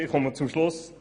Ich komme zum Schluss.